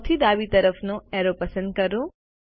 સૌથી ડાબી તરફનો એરો પસંદ કરો